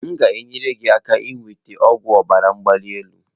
M ga-enyere gị aka inweta ọgwụ ọbara mgbali elu.